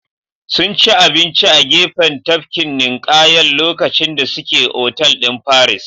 Sunci abinci a gefen tafkin ninƙayan lokacin da suke otal din paris